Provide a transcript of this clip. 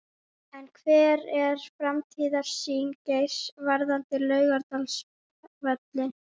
En hver er framtíðarsýn Geirs varðandi Laugardalsvöll?